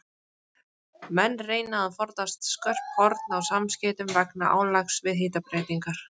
Menn reyna að forðast skörp horn á samskeytum vegna álags við hitabreytingar.